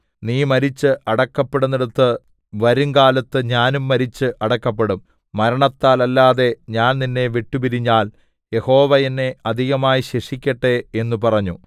നീ മരിച്ച് അടക്കപ്പെടുന്നേടത്ത് വരുംകാലത്ത് ഞാനും മരിച്ചു അടക്കപ്പെടും മരണത്താലല്ലാതെ ഞാൻ നിന്നെ വിട്ടുപിരിഞ്ഞാൽ യഹോവ എന്നെ അധികമായി ശിക്ഷിക്കട്ടെ എന്നു പറഞ്ഞു